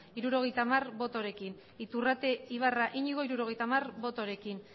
hirurogeita hamar botorekin iturrate ibarra iñigo hirurogeita hamar botorekin